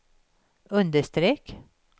understreck